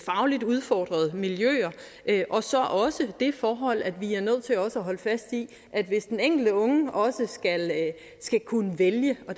fagligt udfordrede miljøer og så også det forhold at vi er nødt til at holde fast i at hvis den enkelte unge skal kunne vælge og